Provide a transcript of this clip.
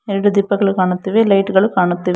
ಎರಡು ದೀಪಗಳು ಕಾಣುತ್ತಿವೆ ಲೈಟ್ ಗಳು ಕಾಣುತ್ತಿವೆ.